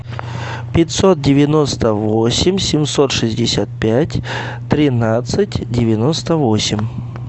пятьсот девяносто восемь семьсот шестьдесят пять тринадцать девяносто восемь